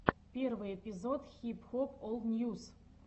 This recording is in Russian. первый эпизод хип хоп ол ньюс